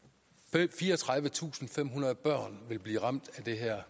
fireogtredivetusinde og femhundrede børn vil blive ramt af det her